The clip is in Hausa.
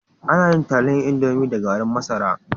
Ana yin taliyan indomi da gari masara